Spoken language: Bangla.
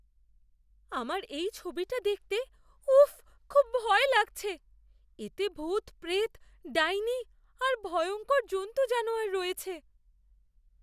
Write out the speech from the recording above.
আমার এই ছবিটা দেখতে উফ্ফ খুব ভয় লাগছে। এতে ভূতপ্রেত, ডাইনি আর ভয়ংকর জন্তু জানোয়ার রয়েছে।